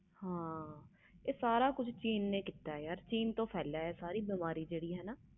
ਹਾਂ ਯਾਰ ਇਹ ਸਾਰਾ ਕੁਛ ਚੀਨ ਨੇ ਕੀਤਾ ਆਹ ਚੀਨ ਤੋਂ ਫੈਲਿਆ ਸਾਰੀ ਬਿਮਾਰੀ